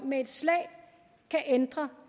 med et slag kan ændre